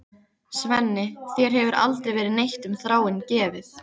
Svenni, þér hefur aldrei verið neitt um Þráin gefið.